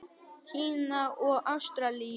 Kína og Ástralíu.